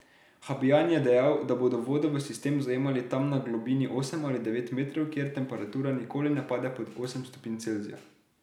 Habjan je dejal, da bodo vodo v sistem zajemali tam na globini osem ali devet metrov, kjer temperatura nikoli ne pade pod osem stopinj Celzija.